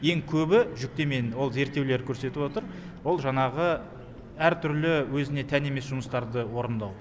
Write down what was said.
ең көбі жүктеменің ол зерттеулер көрсетіп отыр ол жаңағы әртүрлі өзіне тән емес жұмыстарды орындау